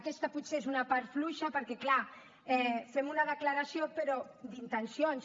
aquesta potser és una part fluixa perquè clar fem una declaració però d’intencions